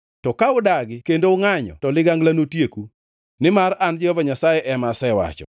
to ka udagi kendo ungʼanyo to ligangla notieku.” Nimar an Jehova Nyasaye ema asewacho.